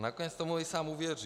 A nakonec tomu i sám uvěří.